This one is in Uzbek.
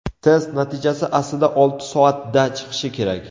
Test natijasi aslida olti soatda chiqishi kerak.